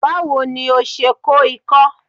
Báwo ni o se kó ikó?